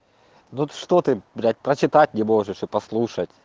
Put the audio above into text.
вот что ты блять прочитать не можешь и послушать